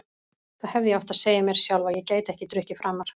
Þá hefði ég átt að segja mér sjálf að ég gæti ekki drukkið framar.